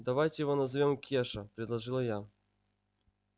давайте его назовём кеша предложила я